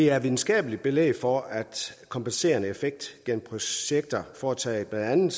er videnskabeligt belæg for kompenserende effekt gennem projekter foretaget blandt andet